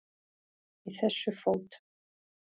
Í þessu fót